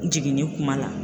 Jiginni kuma la.